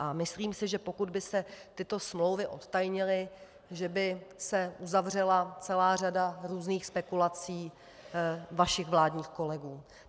A myslím si, že pokud by se tyto smlouvy odtajnily, že by se uzavřela celá řada různých spekulací vašich vládních kolegů.